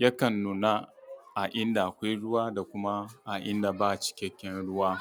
yakan nuna a inda akwai ruwa da kuma a inda babu cikaken ruwa.